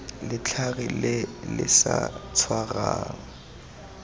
letlhare le le sa tshwarang